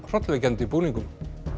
hrollvekjandi búningum